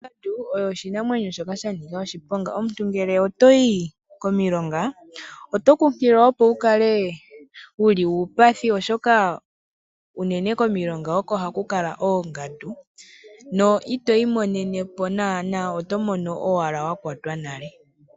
Ongandu oyo oshinamwenyo shoka shanika oshiponga. Omuntu ngele otoyi komilonga oto kunkililwa opo wukale wuli uupathi oshoka unene komilonga oko haku kala oongaku na itoyi monenepo naana oto mono owala wa kwatwa nale.